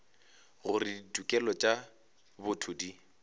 gore ditokelo tša botho di